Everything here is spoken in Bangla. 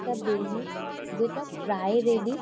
এটা বিল্ডিং যেটা প্রায় রেডি ।